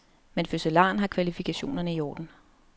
Men fødselaren har kvalifikationerne i orden.